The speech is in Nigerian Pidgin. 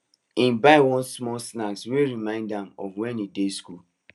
he buy one small snack wey remind am of when he dey school